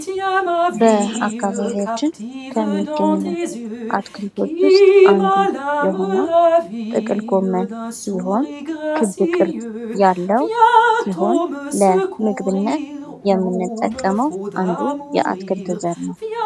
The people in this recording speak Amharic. በ አካባቢያችን ከሚገኘው አትክልቶች ውስጥ አንዱ የሆነ ጥቅል ጎመን ሲሆን ክብ ቅርጽ ያለው ሲሆን ለምግብነት የምንጠቀመው አንዱ የአትክልት ዘር ነው።